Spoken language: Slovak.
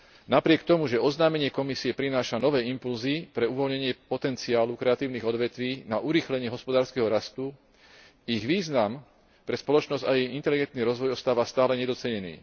Napriek tomu, že oznámenie Komisie prináša nové impulzy pre uvoľnenie potenciálu kreatívnych odvetví na urýchlenie hospodárskeho rastu, ich význam pre spoločnosť a jej inteligentný rozvoj ostáva stále nedocenený.